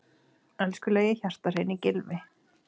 Elskulegi, hjartahreini Gylfi.